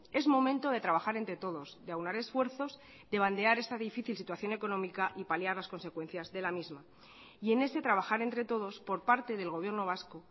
es momento de trabajar entre todos de aunar esfuerzos de bandear esta difícil situación económica y paliar las consecuencias de la misma y en ese trabajar entre todos por parte del gobierno vasco